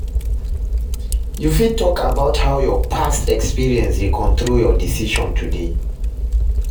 You fit talk about how your past experiences dey control your decision today?